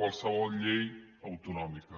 qualsevol llei autonòmica